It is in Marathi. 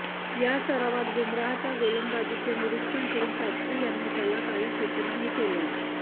या सरावात बुमराहच्या गोलंदाजीचे निरिक्षण करुन शास्त्री यांनी त्याला काही सुचनाही केल्या